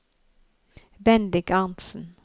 Bendik Arntzen